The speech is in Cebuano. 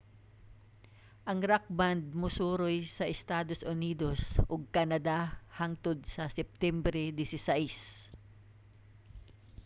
ang rock band mosuroy sa estados unidos ug canada hangtod sa septembre 16